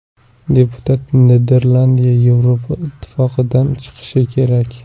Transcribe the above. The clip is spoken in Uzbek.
Deputat: Niderlandiya Yevropa Ittifoqidan chiqishi kerak.